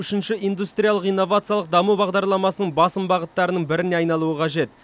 үшінші индустриалық инновациялық даму бағдарламасының басым бағыттарының біріне айналуы қажет